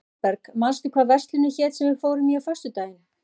Þorberg, manstu hvað verslunin hét sem við fórum í á föstudaginn?